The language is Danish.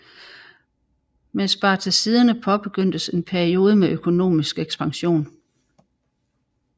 Med Spartaciderne påbegyndtes en peiode med økonomisk ekspansion